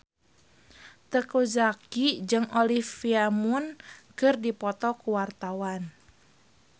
Teuku Zacky jeung Olivia Munn keur dipoto ku wartawan